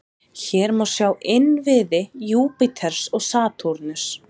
Hér má sjá innviði Júpíters og Satúrnusar.